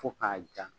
Fo k'a ja